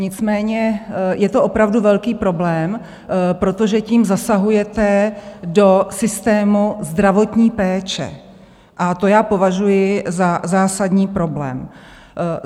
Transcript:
Nicméně je to opravdu velký problém, protože tím zasahujete do systému zdravotní péče, a to já považuji za zásadní problém.